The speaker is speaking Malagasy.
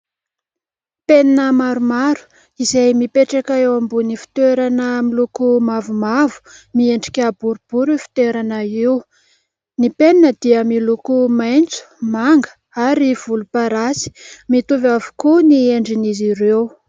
Penina maromaro izay mipetraka eo ambony fitoerana miloko mavomavo, miendrika boribory io fitoerana io, ny penina dia miloko maitso, manga ary volomparasy, mitovy avokoa ny endrin'izy ireo.